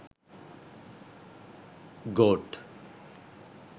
goat